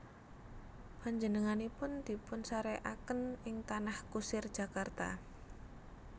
Panjenenganipun dipunsarèkaken ing Tanah Kusir Jakarta